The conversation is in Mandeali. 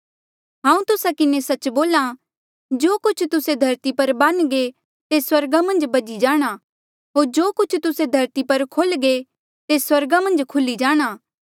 हांऊँ तुस्सा किन्हें सच्च बोल्हा जो कुछ तुस्से धरती पर बानघे तेस स्वर्गा मन्झ बझी जाणा होर जो कुछ तुस्से धरती पर खोल्घे तेस स्वर्गा मन्झ खुल्ही जाणा